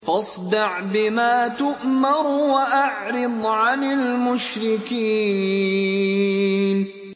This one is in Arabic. فَاصْدَعْ بِمَا تُؤْمَرُ وَأَعْرِضْ عَنِ الْمُشْرِكِينَ